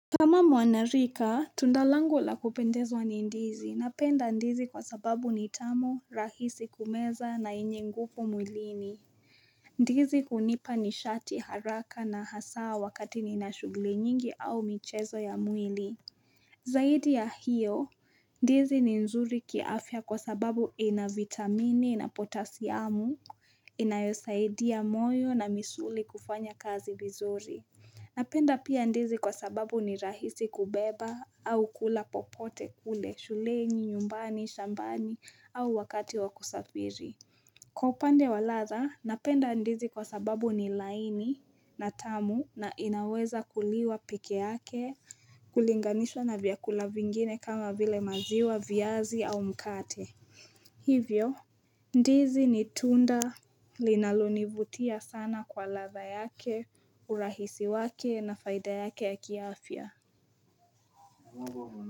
Kama mwanarika, tundalangu la kupendezwa ni ndizi. Napenda ndizi kwa sababu ni tamu, rahisi kumeza na yenye nguvu mwilini. Ndizi hunipa ni shati haraka na hasaa wakati ni na shughuli nyingi au michezo ya mwili. Zaidi ya hiyo, ndizi ni nzuri kiafya kwa sababu ina vitamini na potasiamu, inayosaidia moyo na misuli kufanya kazi vizuri. Napenda pia ndizi kwa sababu ni rahisi kubeba au kula popote kule, shuleni, nyumbani, shambani au wakati wakusafiri. Kwa upande wa ladha, napenda ndizi kwa sababu ni laini na tamu na inaweza kuliwa pkeyake kulinganishwa na vyakula vingine kama vile maziwa, vyazi au mkate. Hivyo, ndizi ni tunda linalonivutia sana kwa ladha yake, urahisi wake na faida yake yaki afya.